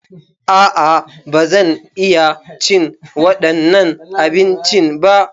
A'a, ba zan iya cin waɗannan abincin ba.